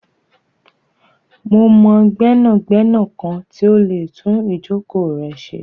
Mo mọ gbẹnagbẹna kan ti o lè tún ijọ̀kọ̀ rẹ ṣé.